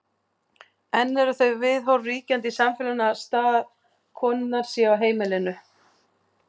enn eru þau viðhorf ríkjandi í samfélaginu að staður konunnar sé á heimilinu